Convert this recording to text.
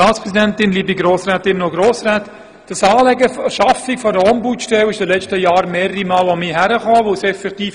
Das Anliegen, eine solche Ombudsstelle zu schaffen, wurde in den letzten Jahren mehrmals an mich herangetragen.